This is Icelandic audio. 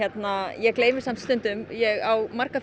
ég gleymi samt stundum ég á marga